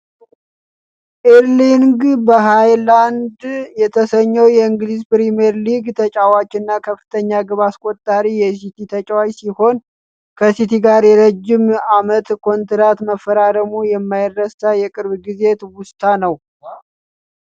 ኤርሊንግ ሀላንድ የተሰኘው የእንግሊዝ ፕሪምየር ሊግ ተጫዋችና ከፍተኛ ግብ አስቆጣሪ የሲቲ ተጫዋች ሲሆን ከሲቲ ጋር የረጅም አመት ኮንትራት መፈራረሙ የማይረሳ የቅርብ ጊዜ ትውስታ ነው ።